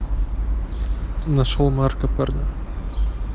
нашёл марка парня